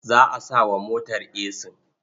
Za a sa wa motar esin.